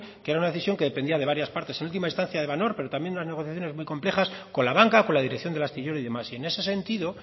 que era una decisión que dependía de varias partes en última instancia de van oord pero también de unas negociaciones muy complejas con la banca con la dirección del astillero y demás y en ese sentido